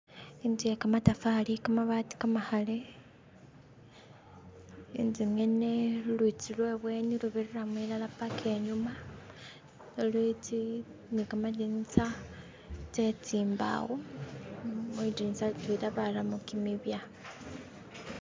Itsu ye khamatafari, khamabaati kamakhale intsu ngyene lulutsi lwe bweni lubirilamu ilala paka inyuma lutsi ni khamadinisa tse tsimbawo mwidilitsa litwela baramo kimibya